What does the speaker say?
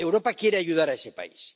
Europa quiere ayudar a ese país.